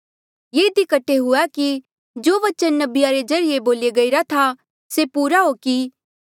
ये इधी कठे हुआ कि जो बचन नबिया रे ज्रीए बोल्या गईरा था से पूरा हो कि